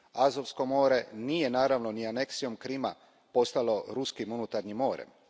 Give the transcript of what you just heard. Azovsko more nije naravno ni aneksijom Krima postalo ruskim unutarnjim morem.